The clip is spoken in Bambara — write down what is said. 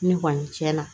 Ne kɔni cɛn na